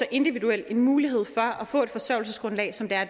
individuel mulighed for at få et forsørgelsesgrundlag som